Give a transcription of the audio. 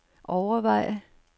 overveje